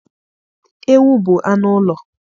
Ewu bụ anụ ụlọ